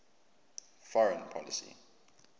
foreign policy